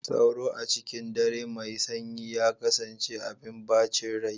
Sauro, a cikin dare mai sanyi, ya kasance abin bacin rai.